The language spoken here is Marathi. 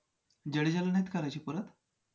जडेजाला नाहीत करायचे परत?